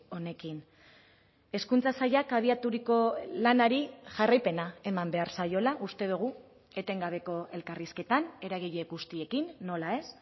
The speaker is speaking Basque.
honekin hezkuntza sailak abiaturiko lanari jarraipena eman behar zaiola uste dugu etengabeko elkarrizketan eragile guztiekin nola ez